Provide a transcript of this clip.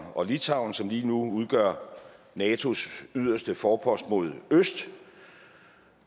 og litauen som lige nu udgør natos yderste forpost mod øst